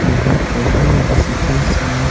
यह है फोटो रेसिकेस में --